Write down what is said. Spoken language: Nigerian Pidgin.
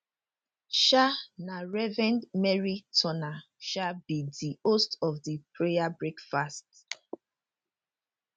um na reverend merrie turner um be di host of di prayer breakfast